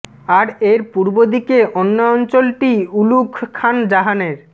আর এর পূর্ব দিকে অন্য অঞ্চলটি উলুঘ খান জাহানের